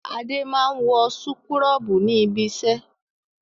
Adé máa ń wọ súkúrọ́bù ní ibiṣẹ́.